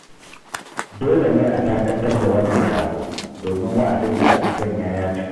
Dole ne a dakatar da wannan taro, domin wa'adin da aka sanya ya cika.